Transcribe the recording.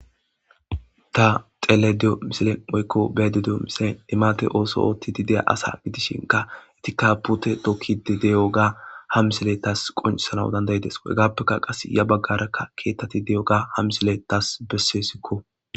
Ta xelayda diyo misiley woyko beyayda diyo misiley limate oso otid diya asa gidishinka hesatika pute tokid de'iyoga ha misiley tas qoncisanas danda'des, qasi ya bagaraka ketat diyoga ha misiley tas besesko.